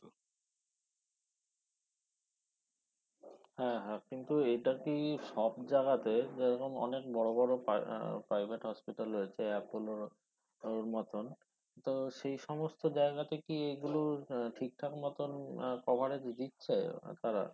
হ্যা হ্যা কিন্তু এটা কি সব জাগাতে যেরকম অনেক বড় বড় private hospital রয়েছে apollo র মতন তো সেই সমস্ত জায়গাতে কি এগুলোর আহ ঠিকঠাক মতন আহ coverage দিচ্ছে তারা?